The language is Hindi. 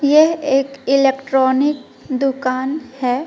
ये एक इलेक्ट्रॉनिक दुकान है।